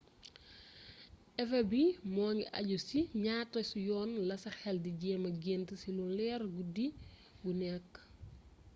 efet bi mu ngi àju ci si ñaata yoon la sa xel di jëma gént ci lu leer guddi gu nekk